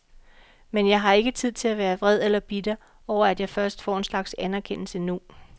Men jeg har ikke tid til at være vred eller bitter over at jeg først får en slags anerkendelse nu.